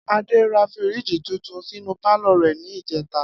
Adé ra fíríìjì tuntun sínú pálò̩ rè̩ ní ìjé̩ta